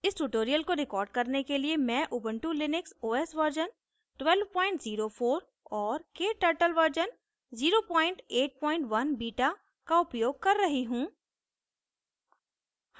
इस tutorial को record करने के लिए मैं उबंटु लिनक्स os वर्ज़न 1204 और kturtle वर्ज़न 081 बीटा का उपयोग कर रही हूँ